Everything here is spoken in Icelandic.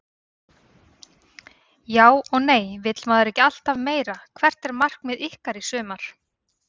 Já og nei vill maður ekki alltaf meira Hvert er markmið ykkar í sumar?